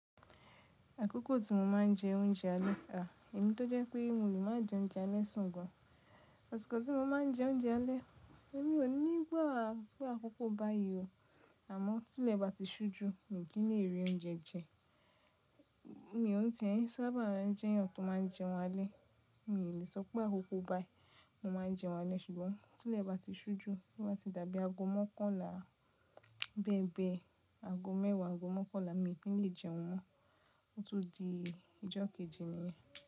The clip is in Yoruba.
Àkókò tí mo máa ń jẹ oúnjẹ alẹ́, à, èmi tó jẹ́ pé mo le máa jẹ oúnjẹ alẹ́ sùn gan asiko tí mo máa ń jẹ oúnjẹ alẹ́, èmi ò ní igba pe àkókò báyìí o. Àmọ́ tí ilẹ̀ bá ti ṣú ju mi kì í lè rí oúnjẹ jẹ. Mi òn tíe sábà jẹ́ èèyàn tó máa ń jẹun alẹ́, mi ò lè sọ pé àkókò báyi ni mo máa ń jẹun alẹ́ ṣùgbọ́n tí ilẹ̀ bá ti ṣú ju, bá ti dàbí ago mọ́kànlá bẹ́ẹ̀ bẹ́ẹ̀, ago mẹ́wàá, ago mọ́kànlá mi kì í lè jẹun mọ́, ó tún di ijokeji ni.